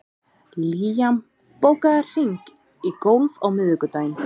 Liam, bókaðu hring í golf á miðvikudaginn.